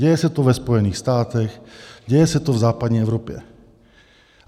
Děje se to ve Spojených státech, děje se to v západní Evropě.